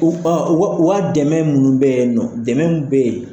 u ka u ka dɛmɛ munnu bɛ ye nɔ dɛmɛ mun bɛ yen.